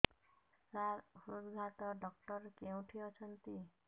ସାର ହୃଦଘାତ ଡକ୍ଟର କେଉଁଠି ଅଛନ୍ତି